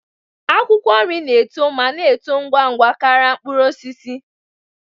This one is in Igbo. Akwụkwọ nri na-eto ma na-eto ngwa ngwa karịa mkpụrụ osisi